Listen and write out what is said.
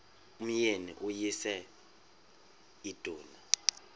umyeni uyise iduna